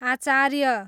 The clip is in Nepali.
आचार्य